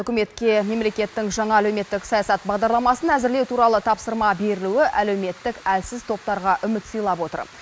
үкіметке мемлекеттің жаңа әлеуметтік саясат бағдарламасын әзірлеу туралы тапсырма берілуі әлеуметтік әлсіз топтарға үміт сыйлап отыр